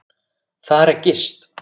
Þar er gist.